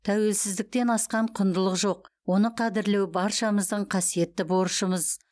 тәуелсіздіктен асқан құндылық жоқ оны қадірлеу баршамыздың қасиетті борышымыз